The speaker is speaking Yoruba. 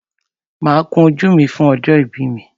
Máa kun ojú mi fún ọjọ́ ìbí mi.